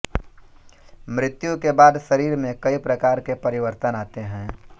मृत्यु के बाद शरीर में कई प्रकार के परिवर्तन आते हैं